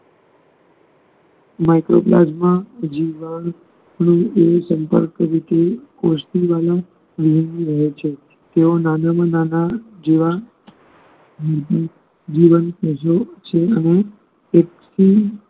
લોકો મજબુર જીવતા હોય ને એની સંકલ્પ રીતે કોશતી ઓ નું નિવેદન કરે છે તે માનવ જીવન મૂળભૂત જીવન પ્રજે છે અને એક